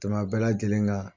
tɛmɛ a bɛɛ lajɛlen kan.